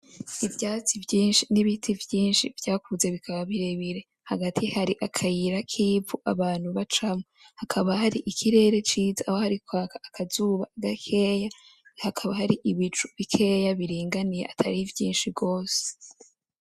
Ivyatsi vyinshi n’ibiti vyinshi vyakuze bikaba birebire, hagati hari akayira k’ivu abantu bacamwo. Hakaba hari ikirere ciza aho hari kwaka akazuba gakeyi hakaba hari ibicu bikeya biringaniye atari vyinshi gose.